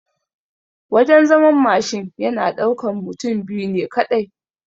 Wajan zaman Mashin yana ɗaukan mutum biyu ne kaɗai